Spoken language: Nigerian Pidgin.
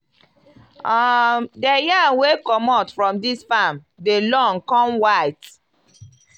um di yam wey comot from dis farm dem long come white.